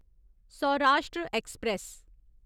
Saurashtra express